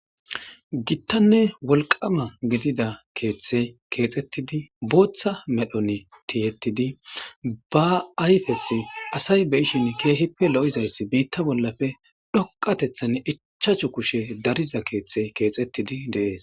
Gitanne woliqama gidida keeththeyi keeththetidi botha medhdhoni tiyetidi ba ayipesoyi asayi beishshin kehippe loizayisi bota bolappe doqateththani ichchachu kushshe dariza keeththeyi keeththetidi deessi